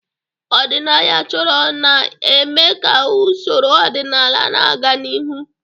Ọdịnaya chọrọ na-eme ka usoro ọdịnala na-aga n'ihu.